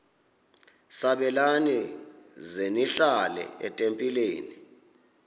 sabelani zenihlal etempileni